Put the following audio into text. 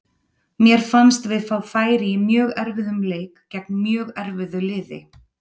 Mér fannst við fá færi í mjög erfiðum leik gegn mjög erfiðu liði.